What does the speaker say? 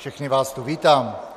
Všechny vás tu vítám.